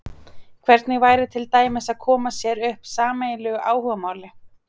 Hvernig væri til dæmis að koma sér upp sameiginlegu áhugamáli?